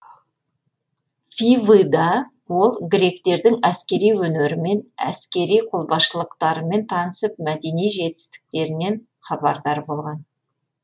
фивыда ол гректердің әскери өнерімен әсери қолбасшылықтарымен танысып мәдени жетістіктерінен хабардар болған